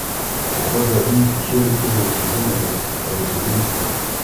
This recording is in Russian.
похоже одиннадцатую серию первого сезона расскажи мне сказку